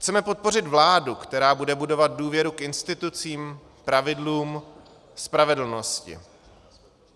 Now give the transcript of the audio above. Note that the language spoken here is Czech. Chceme podpořit vládu, která bude budovat důvěru k institucím, pravidlům, spravedlnosti.